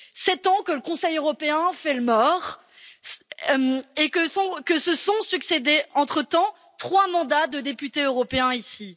Sept ans que le Conseil européen fait le mort et que se sont succédés, entre temps, trois mandats de députés européens ici.